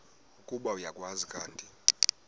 ukuba uyakwazi kanti